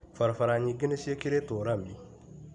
Barabara nyingĩ nĩciĩkĩrĩtwo rami.